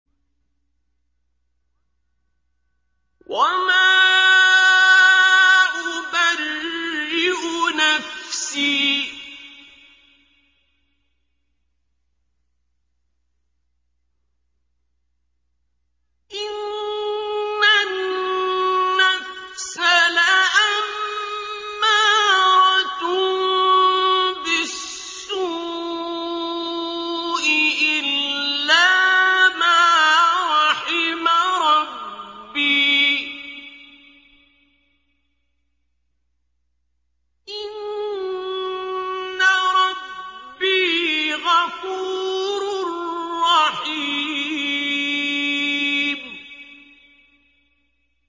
۞ وَمَا أُبَرِّئُ نَفْسِي ۚ إِنَّ النَّفْسَ لَأَمَّارَةٌ بِالسُّوءِ إِلَّا مَا رَحِمَ رَبِّي ۚ إِنَّ رَبِّي غَفُورٌ رَّحِيمٌ